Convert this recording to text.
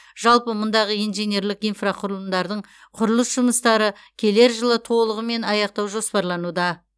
жалпы мұндағы инженерлік инфрақұрылымдардың құрылыс жұмыстары келер жылы толығымен аяқтау жоспарлануда